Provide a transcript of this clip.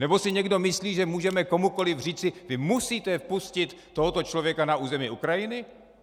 Nebo si někdo myslí, že můžeme komukoli říci: vy musíte vpustit tohoto člověka na území Ukrajiny?